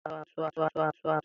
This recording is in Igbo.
Tebụl ahụ chọrọ ngwugwu ihe ntu abụọ.